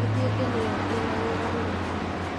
Ĩtuĩke nĩyo ĩna wĩra ũrĩa mũnene